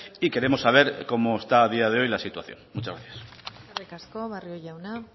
y queremos saber cómo está a día de hoy la situación muchas gracias eskerrik asko barrio jauna